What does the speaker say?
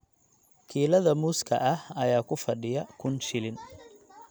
Kiilada muuska ah ayaa ku fadhiya kun shilin.